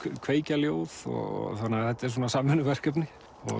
kveikja ljóð þannig að þetta er svona samvinnuverkefni